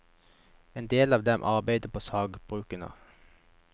En del av dem arbeidet på sagbrukene.